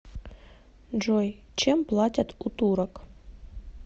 джой чем платят у турок